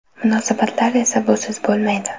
Munosabatlar esa busiz bo‘lmaydi.